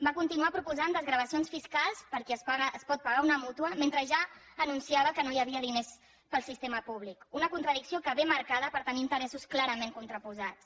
va continuar proposant desgravacions fiscals per al qui es pot pagar una mútua mentre ja anunciava que no hi havia diners per al sistema públic una contradicció que ve marcada per tenir interessos clarament contraposats